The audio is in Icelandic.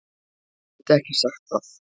Get ekki sagt það.